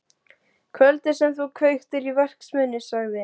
Kvöldið sem þú kveiktir í verksmiðjunni sagði